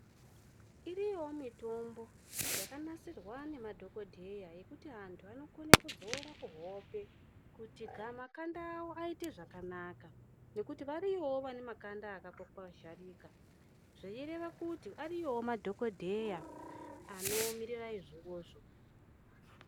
Iriyowo mitombo yaka nasirwa ne madhokodheya yekuti antu anokone kudzora ku hope kuti makanda awo aite zvakanaka nekuti variyowo vane makanda akato kwazharika zvei reva kuti ariyowo madhokodheya ano mirira izvo.